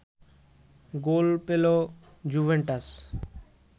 গোল পেল জুভেন্টাস